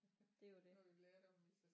Det er jo det